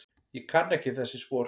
Ég kann ekki þessi spor.